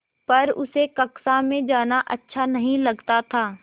पर उसे कक्षा में जाना अच्छा नहीं लगता था